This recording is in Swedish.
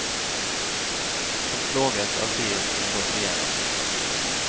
Han plågas av det han gått igenom.